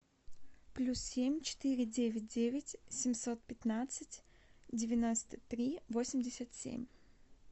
плюс семь четыре девять девять семьсот пятнадцать девяносто три восемьдесят семь